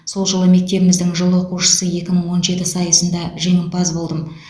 сол жылы мектебіміздің жыл оқушысы екі мың он жеті сайысында жеңімпаз болдым